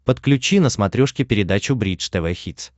подключи на смотрешке передачу бридж тв хитс